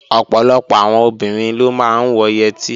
Ọ̀pọ̀lọpọ̀ àwọn obìnrin ló máa ń wọ yẹtí